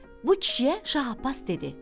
Bu kişiyə Şah Abbas dedi: